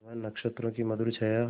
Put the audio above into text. वह नक्षत्रों की मधुर छाया